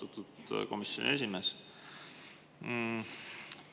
Austatud komisjoni esimees!